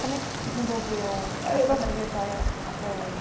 Como é que se desenvolveu a sua trajetória até hoje?